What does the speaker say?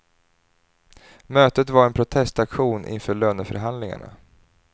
Mötet var en protestaktion inför löneförhandlingarna.